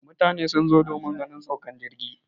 mutane sun zo domin ganin saukar jirgi